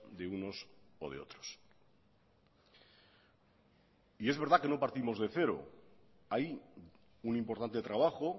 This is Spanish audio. de unos o de otros y es verdad que no partimos de cero hay un importante trabajo